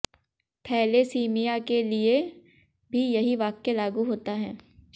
thalassaemia के लिए भी यही वाक्य लागू होता है